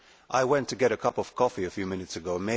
I went to get a cup of coffee a few minutes ago.